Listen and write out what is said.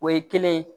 O ye kelen ye